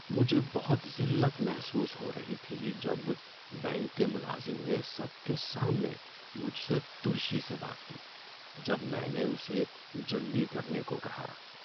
مجھے بہت ذلت محسوس ہو رہی تھی جب بینک کے ملازم نے سب کے سامنے مجھ سے ترشی سے بات کی جب میں نے اسے جلدی کرنے کو کہا۔